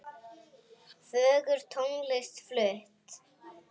Fögur tónlist flutt.